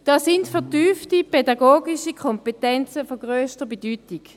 Da sind vertiefte pädagogische Kompetenzen von grösster Bedeutung.